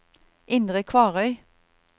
Indre Kvarøy